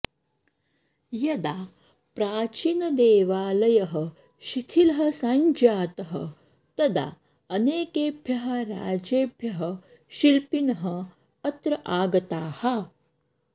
यदा प्राचीनदेवालयः शिथिलः सञ्जातः तदा अनेकेभ्यः राज्येभ्यः शिल्पिनः अत्र आगताः